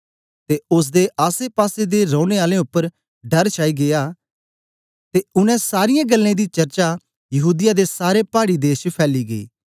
ते ओसदे आसेपासे दे रौने आलें उपर डर छाई गीया ते उनै सारीयें गल्लें दी चर्चा यहूदीया दे सारे पाड़ी देश च फैली गेई